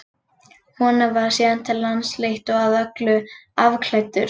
Honum var síðan til lands fleytt og að öllu afklæddur.